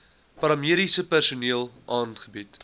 paramediese personeel aangebied